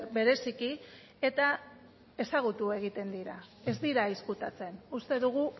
bereziki eta ezagutu egiten dira ez dira ezkutatzen uste dugu